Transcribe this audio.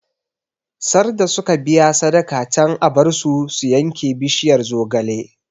Sarda suka biya sadaka can a bar su su yanke bishiyar zogale